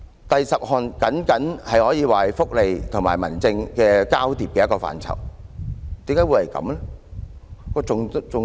第十項僅僅可以說是福利和民政交疊的一個範疇，為何會這樣？